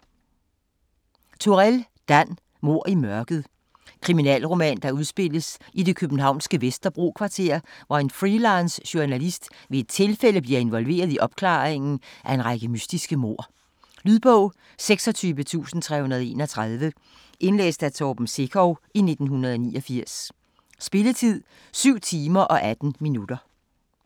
Turèll, Dan: Mord i mørket Kriminalroman der udspilles i det københavnske Vesterbro-kvarter, hvor en freelance journalist ved et tilfælde bliver involveret i opklaringen af en række mystiske mord. Lydbog 26331 Indlæst af Torben Sekov, 1989. Spilletid: 7 timer, 18 minutter.